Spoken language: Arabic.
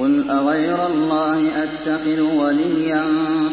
قُلْ أَغَيْرَ اللَّهِ أَتَّخِذُ وَلِيًّا